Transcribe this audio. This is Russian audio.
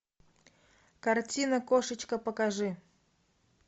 картина кошечка покажи